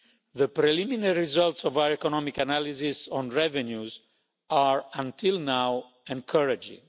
The preliminary results of our economic analysis on revenues are, until now, encouraging.